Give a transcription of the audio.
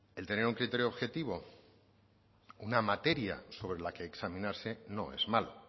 el tener un criterio objetivo una materia sobre la que examinarse no es malo